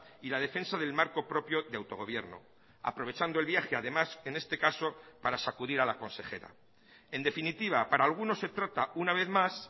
y la defensa del marco propio de autogobierno aprovechando el viaje además en este caso para sacudir a la consejera en definitiva para algunos se trata una vez más